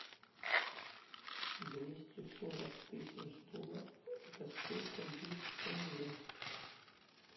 двести сорок тысяч долларов это сколько будет в тенге